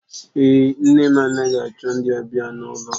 Èé, nne m anaghị achọ ndị ọbịa n'ụlọ.